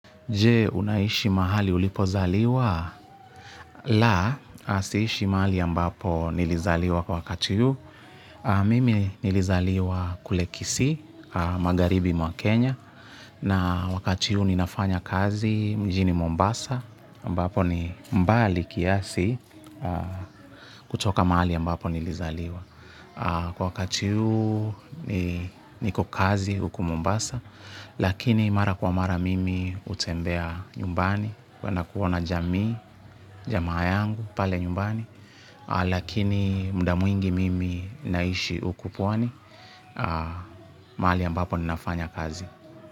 Je, unaishi mahali ulipozaliwa? La, siishi mahali ambapo nilizaliwa kwa wakati huu. Mimi nilizaliwa kule Kisii, magharibi mwa Kenya, Na wakati huu ninafanya kazi mjini Mombasa, ambapo ni mbali kiasi kutoka mahali ambapo nilizaliwa. Kwa wakati huu niko kazi huku Mombasa lakini mara kwa mara mimi hutembea nyumbani. Kuenda kuwa na jamii, jamaa yangu, pale nyumbani. Lakini muda mwingi mimi naishi huku pwani, mahali ambapo ninafanya kazi.